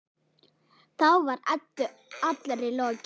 Þá var Eddu allri lokið.